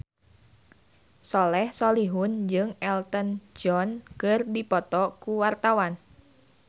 Soleh Solihun jeung Elton John keur dipoto ku wartawan